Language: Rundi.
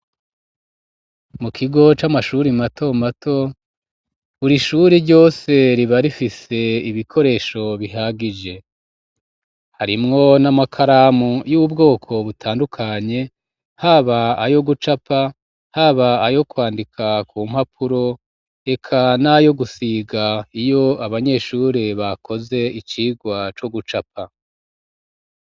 Mu kigo c'amashure mato mato bur'ishuri ryose riba rifise ibikoresho bihagije harimwo n'a makaramu y'ubwoko butandukanye haba ayo gucapa haba ayo kwandika ku mpapuro reka n'ayo gusiga iyo abanyeshure bakoze icigwa co gucapa.